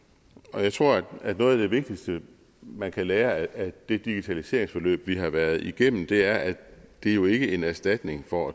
og jeg tror at noget af det vigtigste man kan lære af det digitaliseringsforløb vi har været igennem er at det jo ikke er en erstatning for